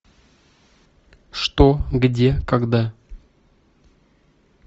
что где когда